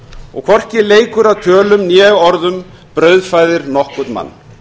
og hvorki leikur að tölum né orðum brauðfæðir nokkurn mann